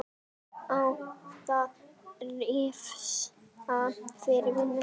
Á að refsa fyrir vinnu?